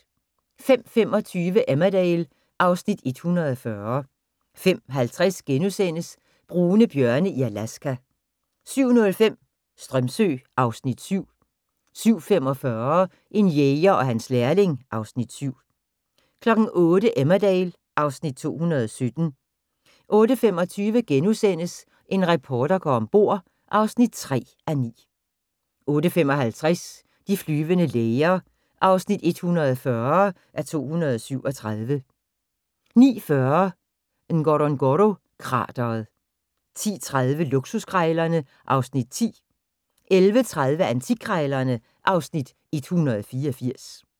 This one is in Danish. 05:25: Emmerdale (Afs. 140) 05:50: Brune bjørne i Alaska * 07:05: Strömsö (Afs. 7) 07:45: En jæger og hans lærling (Afs. 7) 08:00: Emmerdale (Afs. 217) 08:25: En reporter går om bord (3:9)* 08:55: De flyvende læger (140:237) 09:40: Ngorongoro-krateret 10:30: Luksuskrejlerne (Afs. 10) 11:30: Antikkrejlerne (Afs. 184)